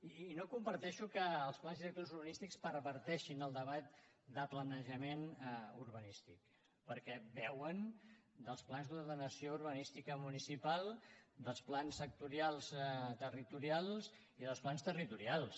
i no comparteixo que els pans directors urbanístics perverteixin el debat de planejament urbanístic perquè beuen dels plans d’ordenació urbanística municipal dels plans sectorials territorials i dels plans territorials